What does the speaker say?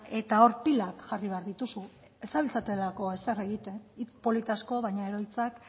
eta hor pilak jarri behar dituzu ez zabiltzatelako ezer egiten hitz polit asko baina gero hitzak